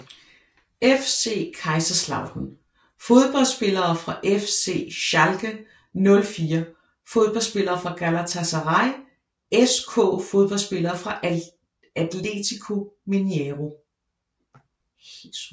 FC Kaiserslautern Fodboldspillere fra FC Schalke 04 Fodboldspillere fra Galatasaray SK Fodboldspillere fra Atletico Mineiro